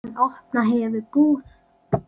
Hann opna hefur búð.